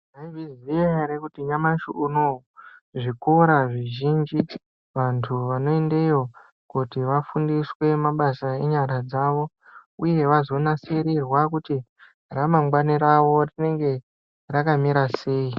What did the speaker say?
Maizviziya ere kuti nyamashi unouyu zvikora zvizhinji vantu vanoendeyo kuti vafundiswe mabasa enyara dzavo, uye vazonasirirwa kuti ramangwani ravo rinenge rakamira sei.